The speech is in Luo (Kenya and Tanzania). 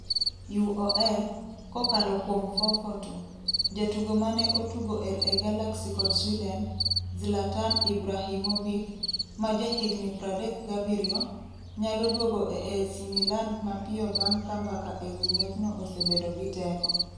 (UOL, kokalo kuom FourFourTwo) Jatugo mane otugo LA Galaxy kod Sweden, Zlatan Ibrahimovic, ma jahigni 37, nyalo duogo e AC Milan mapiyo bang' ka mbaka ewi ng'wechno osebedo gi teko.